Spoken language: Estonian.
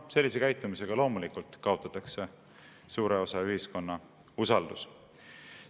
" Sellise käitumisega loomulikult kaotatakse suure osa ühiskonna usaldus.